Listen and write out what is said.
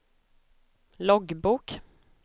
loggbok